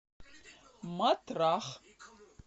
матрах